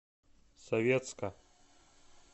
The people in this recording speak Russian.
советска